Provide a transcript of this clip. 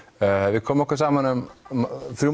við komum okkur saman um þrjú